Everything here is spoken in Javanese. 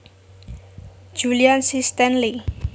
Julian C Stanley